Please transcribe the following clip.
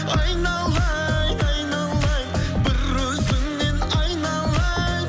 айналайын айналайын бір өзіңнен айналайын